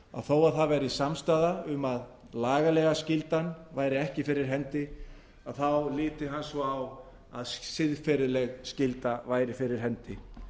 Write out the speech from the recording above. þó að það væri samstaða um að lagalega skyldan væri ekki fyrir hendi liti hann svo á að siðferðileg skylda væri fyrir hendi